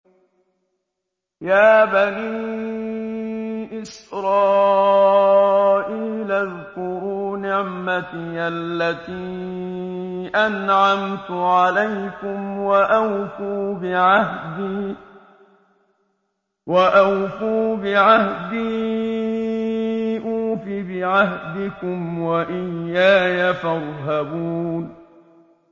يَا بَنِي إِسْرَائِيلَ اذْكُرُوا نِعْمَتِيَ الَّتِي أَنْعَمْتُ عَلَيْكُمْ وَأَوْفُوا بِعَهْدِي أُوفِ بِعَهْدِكُمْ وَإِيَّايَ فَارْهَبُونِ